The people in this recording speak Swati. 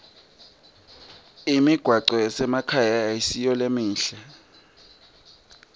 imigwaco yasemakhaya ayisiyo lemihle